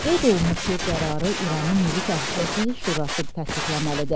Qeyd olunub ki, qərarı İranın Milli Təhlükəsizlik Şurası təsdiqləməlidir.